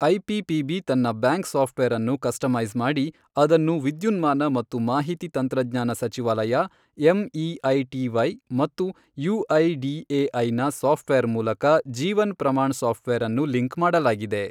IPPB ತನ್ನ bank software ಅನ್ನು customise ಮಾಡಿ, ಅದನ್ನು ವಿದ್ಯುನ್ಮಾನ ಮತ್ತು ಮಾಹಿತಿ ತಂತ್ರಜ್ಞಾನ ಸಚಿವಾಲಯ ಎಂಇಐಟಿವೈ ಮತ್ತು ಯಐಡಿಎಐನ ಸಾಫ್ಟ್ ವೇರ್ ಮೂಲಕ ಜೀವನ್ ಪ್ರಮಾಣ್ ಸಾಫ್ಟ್ ವೇರ್ ಅನ್ನು ಲಿಂಕ್ ಮಾಡಲಾಗಿದೆ.